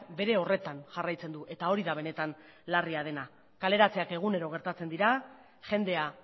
bere horretan jarraitzen du eta hori da benetan larria dena kaleratzeak egunero gertatzen dira jendea